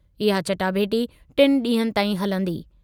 इहा चटाभेटी टिनि ॾींहनि ताईं हलंदी।